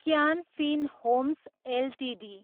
can Fin Homes Ltd